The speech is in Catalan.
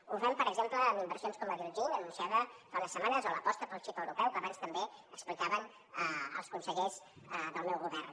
ho fem per exemple en inversions com la d’iljin anunciada fa unes setmanes o l’aposta pel xip europeu que abans també explicaven els consellers del meu govern